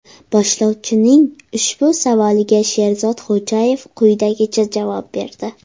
Boshlovchining ushbu savoliga Sherzod Xo‘jayev quyidagicha javob berdi.